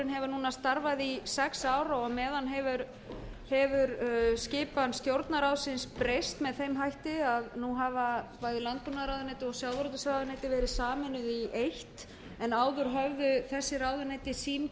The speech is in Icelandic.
núna starfað í sex ár og á meðan hefur skipan stjórnarráðsins breyst með þeim hætti að nú hafa bæði landbúnaðarráðuneytið og sjávarútvegsráðuneytið verið sameinuð í eitt en áður höfðu þessi ráðuneyti sinn